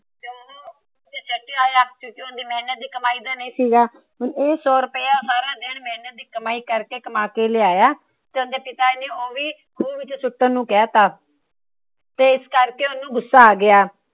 ਜੋ ਓਹਦੀ ਮਹਿਨਤ ਦੀ ਕਮਾਈ ਦਾ ਨੀ ਸੀਗਾ ਏ ਸੋ ਰੁਪਇਆ ਸਾਰਾ ਦਿਨ ਦੀ ਮੇਹਨਤ ਦੀ ਕਮਾਈ ਕਰ ਕੇ ਕਮਾ ਕੇ ਲਿਆਇਆ। ਤੇ ਇਹ ਵੀ ਉਹਂਦੇ ਪਿਤਾ ਨੇ ਓ ਵੀ ਖੂ ਵਿੱਚ ਸੁੱਟਣ ਨੂੰ ਕਹਿ ਦਿੱਤਾ। ਤੇ ਇਸ ਕਰਕੇ ਉਸਨੂੰ ਗੁੱਸਾ ਆ ਗਿਆ।